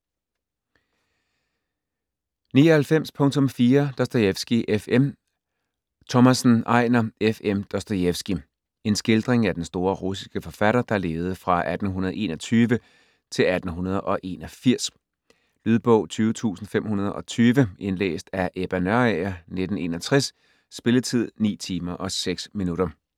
99.4 Dostojevskij, F. M. Thomassen, Ejnar: F.M. Dostojefski En skildring af den store russiske forfatter, der levede fra 1821-1881. Lydbog 20520 Indlæst af Ebba Nørager, 1961. Spilletid: 9 timer, 6 minutter.